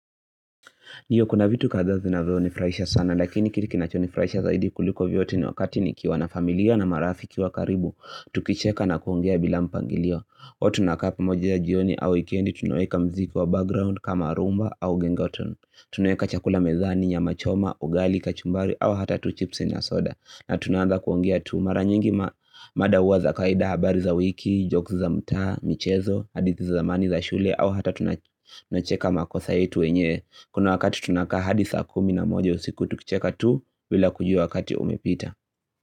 Nido kuna vitu kadhaa zinazonifurahisha sana lakini kile kinachonifurahisha zaidi kuliko vyote ni wakati nikiwa na familia na marafiki wa karibu Tukicheka na kuongea bila mpangilio huwa tunakaa pamoja ya jioni au weekendi tunaweka mziki wa background kama rhumba au genge tone tunaweka chakula mezani nyama choma, ugali, kachumbari au hata tu chipsi na soda na tunaanza kuongea tu mara nyingi mada uwa za kawaida habari za wiki, jokes za mtaa, michezo, hadithi za zamani za shule au hata tunacheka makosa yetu yenye kuna wakati tunakaa hadi saa kumi na moja ya usiku tukicheka tu bila kujua wakati umepita.